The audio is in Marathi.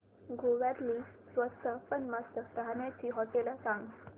गोव्यातली स्वस्त पण मस्त राहण्याची होटेलं सांग